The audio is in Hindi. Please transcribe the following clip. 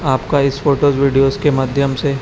आपका इस फोटोस वीडियो के माध्यम से--